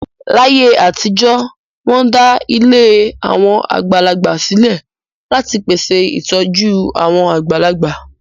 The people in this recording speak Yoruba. Láyé àtijọ́, wọ́n dá ilé àwọn àgbàlagbà sílẹ̀ láti pèsè ìtọ́jú àwọn àgbàlagbà.